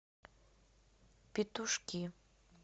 петушки